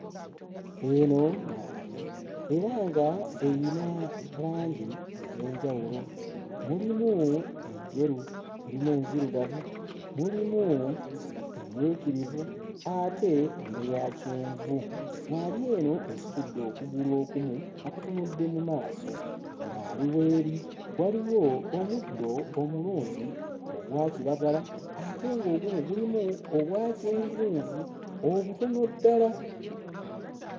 Eno ŋŋaali era ng'eyina langi ez'enjawulo; mulimu enjeru, mulimu enzirugavu, mulimu emmyukirivu ate n'eya kyenvu. ŋŋaali eno situdde okugulu okumu nga kutunudde mu maaso. ŋŋaali w'eri waliwo omuddo omulungi ogwa kiragala ate ng'ogumu gulimu obwa kyenvunvu obutono ddala.